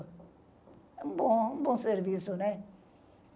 É um bom, bom serviço, né?